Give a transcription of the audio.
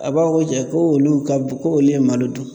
A b'a fɔ ko jɛ ko olu ka ko olu ye malo dun